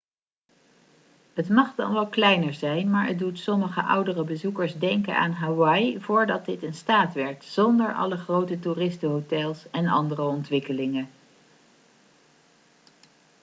het mag dan wel kleiner zijn maar het doet sommige oudere bezoekers denken aan hawaii voordat dit een staat werd zonder alle grote toeristenhotels en andere ontwikkelingen